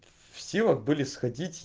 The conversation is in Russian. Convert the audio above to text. в силах были сходить